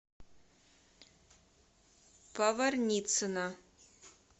поварницына